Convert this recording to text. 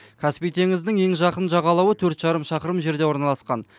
каспий теңізінің ең жақын жағалауы төрт жарым шақырым жерде орналасқан